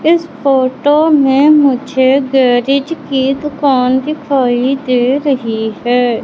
इस फोटो में मुझे गैरेज की दुकान दिखाई दे रही हैं।